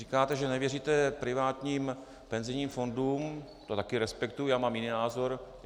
Říkáte, že nevěříte privátním penzijním fondům, to také respektuji, já mám jiný názor.